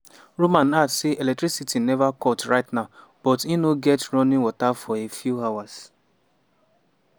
roman add say electricity neva cut right now but im no get running water for a few hours.